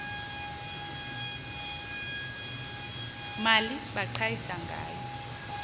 mali baqhayisa ngayo